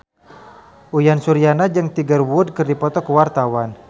Uyan Suryana jeung Tiger Wood keur dipoto ku wartawan